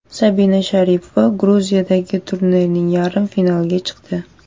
Sabina Sharipova Gruziyadagi turnirning yarim finaliga chiqdi.